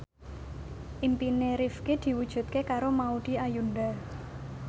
impine Rifqi diwujudke karo Maudy Ayunda